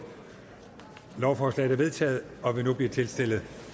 lovforslaget er vedtaget og vil nu blive tilstillet